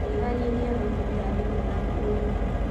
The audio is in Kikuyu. Nyihanyihia gũtũmĩra thimũ yaku ũtukũ.